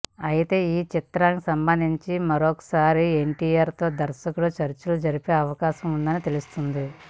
అయితే ఈ చిత్రానికి సంబంధించి మరొకసారి ఎన్టీఆర్ తో దర్శకుడు చర్చలు జరిపే అవకాశం ఉందని తెలుస్తోంది